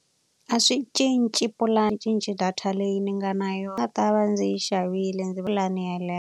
A swi cinci cinci data leyi ni nga na yona va ta va ndzi yi xavile .